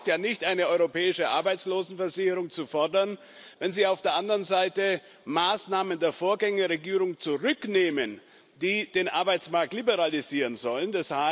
Es reicht ja nicht, eine europäische Arbeitslosenversicherung zu fordern, wenn Sie auf der anderen Seite Maßnahmen der Vorgängerregierung zurücknehmen, die den Arbeitsmarkt liberalisieren sollen.